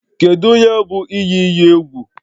Kedu ihe bụ iyi iyi egwu?